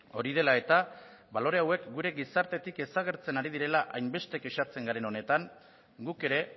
hori de la eta balore hauek gure gizartetik desagertzen ari direla hainbeste kexatzen garen honetan guk ere